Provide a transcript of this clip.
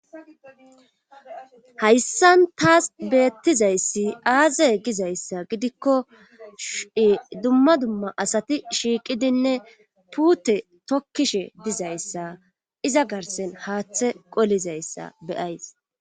hayssan taas beettizayssi aaze gizayssa gidikko dumma dumma asati shiiqidinne puute tokkishe dizayssa iza garsen haaththe qolizayssa beyays